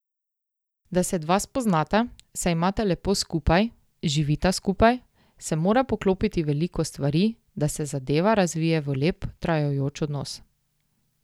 Da se dva spoznata, se imata lepo skupaj, živita skupaj, se mora poklopiti veliko stvari, da se zadeva razvije v lep, trajajoč odnos.